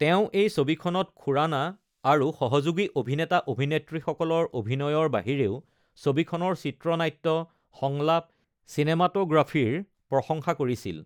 তেওঁ এই ছবিখনত খুৰানা আৰু সহযোগী অভিনেতা-অভিনেত্ৰীসকলৰ অভিনয়ৰ বাহিৰেও ছবিখনৰ চিত্ৰনাট্য, সংলাপ, চিনেমাটোগ্ৰাফীৰ প্ৰশংসা কৰিছিল।